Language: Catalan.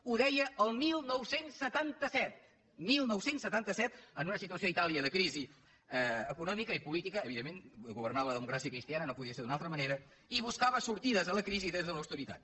ho deia el dinou setanta set dinou setanta set en una situació a itàlia de crisi econòmica i política evidentment governava la democràcia cristiana no podia ser d’una altra manera i buscava sortides a la crisi des de l’austeritat